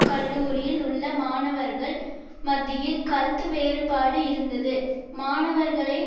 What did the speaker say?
கல்லூரியில் உள்ள மாணவர்கள் மத்தியில் கருத்து வெறுபாடு இருந்தது மாணவர்களை